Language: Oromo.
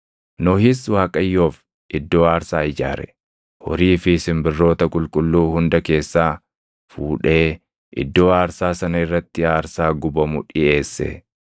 Nohis Waaqayyoof iddoo aarsaa ijaare; horii fi simbirroota qulqulluu hunda keessaa fuudhee iddoo aarsaa sana irratti aarsaa gubamu dhiʼeesse.